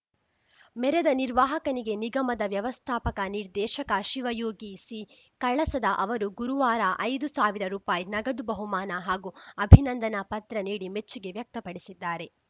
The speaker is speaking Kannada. ಮೆರೆದ ನಿರ್ವಾಹಕನಿಗೆ ನಿಗಮದ ವ್ಯವಸ್ಥಾಪಕ ನಿರ್ದೇಶಕ ಶಿವಯೋಗಿ ಸಿಕಳಸದ ಅವರು ಗುರುವಾರ ಐದು ಸಾವಿರ ರುಪಾಯಿ ನಗದು ಬಹುಮಾನ ಹಾಗೂ ಅಭಿನಂದನಾ ಪತ್ರ ನೀಡಿ ಮೆಚ್ಚುಗೆ ವ್ಯಕ್ತಪಡಿಸಿದ್ದಾರೆ